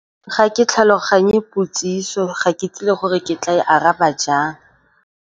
Ga ke tlhaloganye potsiso, ga ke tlile gore ke tla e araba jang.